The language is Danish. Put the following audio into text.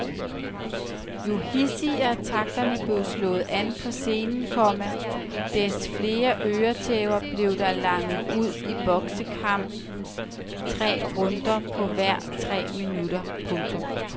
Jo hidsigere takterne blev slået an på scenen, komma des flere øretæver blev der langet ud i boksekampenes tre runder på hver tre minutter. punktum